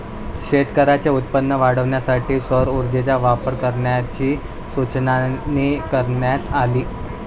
शेतकऱ्यांचे उत्पन्न वाढवण्यासाठी सौर ऊर्जेचा वापर करण्याची सूचनाही करण्यात आली